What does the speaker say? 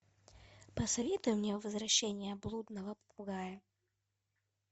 посоветуй мне возвращение блудного попугая